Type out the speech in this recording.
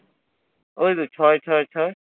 ওই তো ছয় ছয় ছয়।